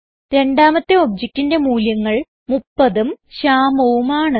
രണ്ടാമത്തെ objectന്റെ മൂല്യങ്ങൾ 30ഉം Shyamuഉം ആണ്